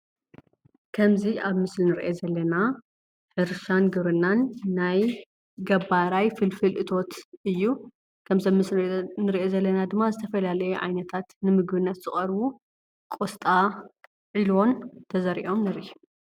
ከምዚ ኣብ ምስሊ ኢንርእዮ ዘለና ሕርሻን ግብርናን ናይ ገባራይ ፍልፍል እቶት እዩ። ከምዚ ኣብ ምስሊ እንርእዮ ዘለና ድማ ዝተፈላለዩ ዓይነታት ንምግብነት ዝቀርቡ ቆስጣ ዕልቦን ተዘሪኦም ንርኢ።